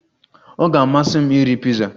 Ọ ga-amasị m iri piza